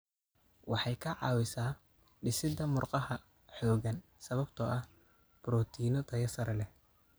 Waxay ka caawisaa dhisidda murqaha xooggan sababtoo ah borotiinno tayo sare leh.